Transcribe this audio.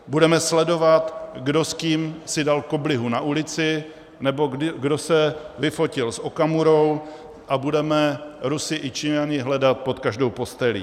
Budeme sledovat, kdo s kým si dal koblihu na ulici nebo kdo se vyfotil s Okamurou a budeme Rusy i Číňany hledat pod každou postelí.